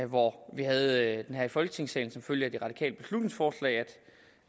hvor vi havde det her i folketingssalen som følge af det radikale beslutningsforslag end